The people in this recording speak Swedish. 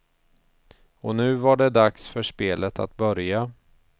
Och nu var det dags för spelet att börja.